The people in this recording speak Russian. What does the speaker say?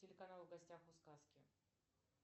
телеканал в гостях у сказки